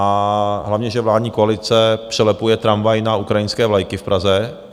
A hlavně, že vládní koalice přelepuje tramvaj na ukrajinské vlajky v Praze.